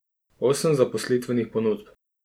Osem zaposlitvenih ponudb.